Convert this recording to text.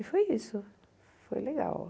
E foi isso, foi legal.